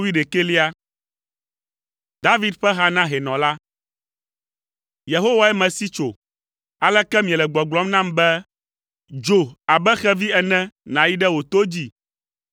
David ƒe ha na hɛnɔ la. Yehowae mesi tso. Aleke miele gbɔgblɔm nam be, “Dzo abe xevi ene nàyi ɖe wò to dzi?